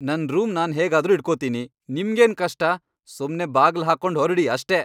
ನನ್ ರೂಮ್ ನಾನ್ ಹೇಗಾದ್ರೂ ಇಟ್ಕೊತೀನಿ, ನಿಮ್ಗೇನ್ ಕಷ್ಟ?! ಸುಮ್ನೇ ಬಾಗ್ಲ್ ಹಾಕ್ಕೊಂಡ್ ಹೊರ್ಡಿ ಅಷ್ಟೇ.